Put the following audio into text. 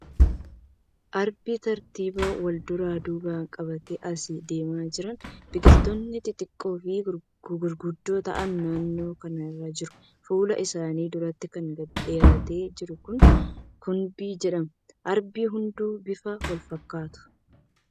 Arbi tartiiban walduraa duuba qabatee as deemaa jira. Biqiltootni xixiqqoo fi gurguddoo ta'an naannoo kana ni jiru. Fuula isaanii duratti kan gadi dheeratee jiru kuni kumbii jedhama. Arbi hunduu bifaan wal fakkaatu.